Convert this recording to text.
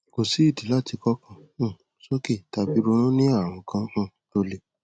kò sí ìdí láti kọkàn um sókè tàbí ronú ní ààrùn kan um tó le